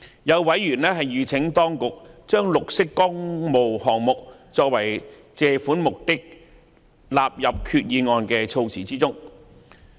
有委員籲請當局把"綠色工務項目"作為借款目的納入決議案的措辭中。